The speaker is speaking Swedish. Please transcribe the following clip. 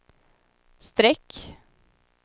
streck